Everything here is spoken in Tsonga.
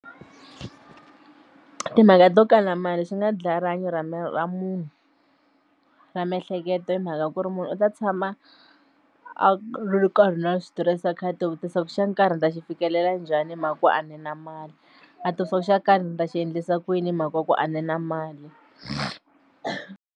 Tmhaka to kala mali swi nga dlaya rihanyo ra ra munhu ra miehleketo hi mhaka ku ri munhu u ta tshama a ri nkarhi na switirese a kha a tivutisa xa nkarhi ndzi ta xi fikelela njhani hi mhaka ku a ni na mali a tivutisa xo karhi ndzi ta xi endlisa ku yini hi mhaka ku a ni na mali.